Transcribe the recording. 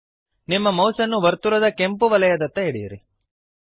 ನಿಮ್ಮ ಮೌಸ್ ಅನ್ನು ವರ್ತುಲದ ಕೆಂಪುವಲಯದತ್ತ ಎಳೆಯಿರಿ